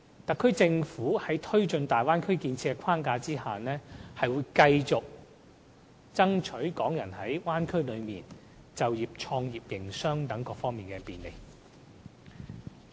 特區政府在推進大灣區建設的框架下，會繼續為港人爭取在大灣區就業、創業、營商等各方面的便利。